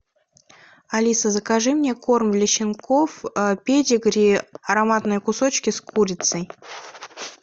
алиса закажи мне корм для щенков педигри ароматные кусочки с курицей